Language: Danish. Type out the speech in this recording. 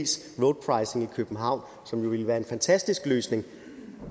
københavn som jo ville være en fantastisk løsning